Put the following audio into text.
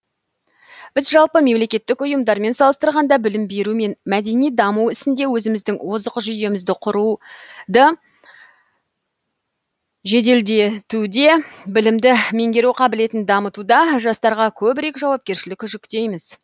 біз жалпы мемлекеттік ұйымдармен салыстырғанда білім беру мен мәдени даму ісінде өзіміздің озық жүйемізді құруды жеделдетуде білімді меңгеру қабілетін дамытуда жастарға көбірек жауапкершілік жүктейміз